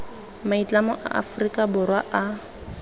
maitlamo a aforika borwa a